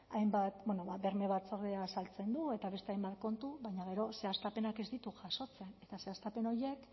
hainbat berme batzordea azaltzen du eta beste hainbat kontu baina gero zehaztapenak ez ditu jasotzen eta zehaztapen horiek